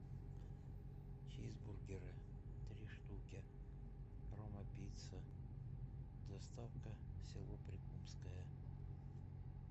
чизбургеры три штуки рома пицца доставка село прикумское